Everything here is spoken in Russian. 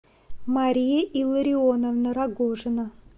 мария илларионовна рогожина